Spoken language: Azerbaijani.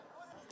Bəs nə oldu?